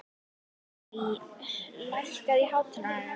Maj, lækkaðu í hátalaranum.